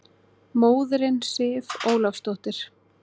Móðirin Sif Ólafsdóttir!